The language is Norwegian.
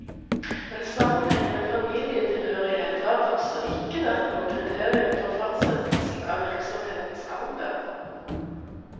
En sammenhengende familietilhørighet har altså ikke vært noe kriterium ved fastsettelsen av virksomhetens alder.